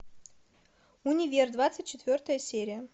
универ двадцать четвертая серия